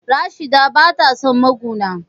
Rashida bata son maguna.